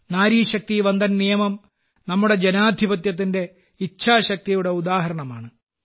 നാരി ശക്തി വന്ദൻ നിയമംനമ്മുടെ ജനാധിപത്യത്തിന്റെ ഇച്ഛാശക്തിയുടെ ഉദാഹരണമാണ്